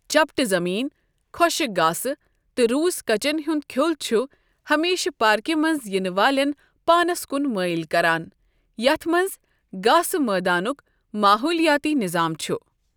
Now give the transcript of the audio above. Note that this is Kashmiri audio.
چَپٹہٕ زٔمیٖن، خۄشٕک گاسہٕ، تہٕ روسۍ کچٮ۪ن ہُنٛد کھیٛوٚل چُھ ہَمیشہٕ پاركہِ مَنٛز یِنہٕ والٮ۪ن پانَس کُن مٲیِل کَران یتھ مَنٛز گاسہٕ مٲدانُک ماحولیٲتی نِظام چھ۔